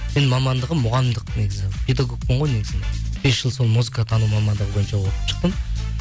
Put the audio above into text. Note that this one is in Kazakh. менің мамандығым мұғалімдік негізі педагогпын ғой негізінде бес жыл сол музыкатану мамандығы бойынша оқып шықтым